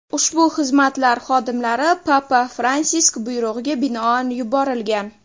Ushbu xizmatlar xodimlari papa Fransisk buyrug‘iga binoan yuborilgan.